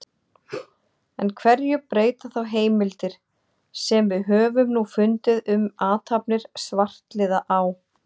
En hverju breyta þá heimildir, sem við höfum nú fundið um athafnir svartliða á